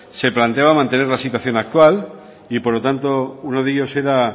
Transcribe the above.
se planeaban mantener la situación actual y por lo tanto uno de ellos era